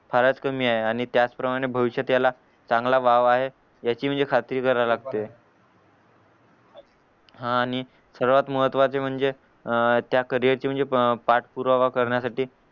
फारच कमी ये आणि त्याच प्रमाणे भविष्यात त्याला चांगला वाव आहे याची म्हणजे खात्री करायला लागते हा आणि सर्वात महत्वाचं म्हणजे अह त्या करियरची म्हणजे अह पाठपुरावा करण्यासाठी